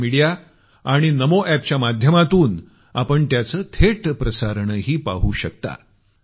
social media आणि नमो एपच्या माध्यमातनं आपण त्याचं लाईव्ह प्रसारणही पाहू शकता